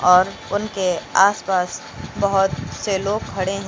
और उनके आस पास बहुत से लोग खड़े हैं।